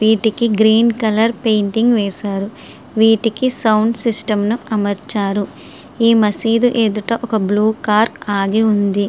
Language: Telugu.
వీటికి గ్రీన్ కలర్ పెయింట్ వేశారు. వీటికి సౌండ్ సిస్టం అమరుచారు. ఈ మసీదు ఎదుట ఒక బ్లూ కార్ ఆగి ఉంది.